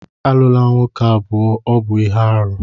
Alụla nwoke abụọ, ọ bụ ihe aru!